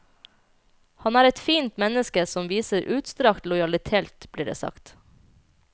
Han er et fint menneske som viser utstrakt lojalitet, blir det sagt.